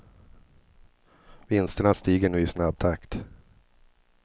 Vinsterna stiger nu i snabb takt.